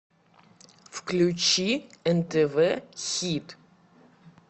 включи нтв хит